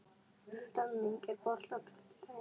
Flemming, er bolti á fimmtudaginn?